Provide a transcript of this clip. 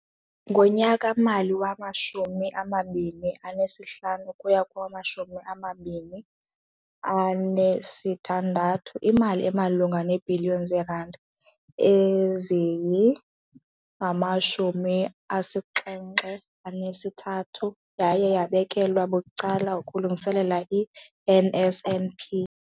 Ngonyaka-mali wama-2015 ukuya kowama-2016, imali emalunga neebhiliyoni zeerandi eziyi-73 yaye yabekelwa bucala ukulungiselela i-NSNP.